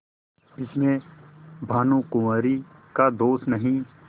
इसमें भानुकुँवरि का दोष नहीं